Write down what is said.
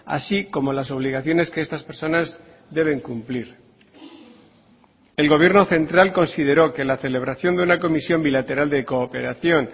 así como las obligaciones que estas personas deben cumplir el gobierno central consideró que la celebración de una comisión bilateral de cooperación